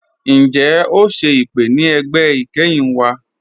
Ǹjẹ́ o ṣẹ̀ ipè̀ ni ẹgbẹ́ ikẹ́hin wa?